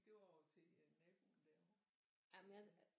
Det var over til naboen derovre